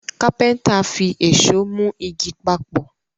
kápẹ́ńtà fí Èṣó mú ìgi papọ